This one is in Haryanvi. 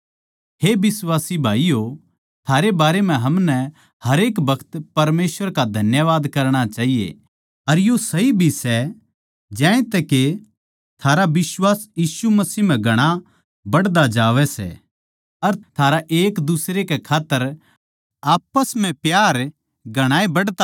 हे बिश्वासी भाईयो थारै बारै म्ह हमनै हरेक बखत परमेसवर का धन्यवाद करणा चाहिये अर यो सही भी सै ज्यांतै के थारा बिश्वास यीशु मसीह म्ह घणा बधता जावै सै अर थारा एक दुसरे कै खात्तर आप्पस म्ह प्यार घणाए बढ़ता जावै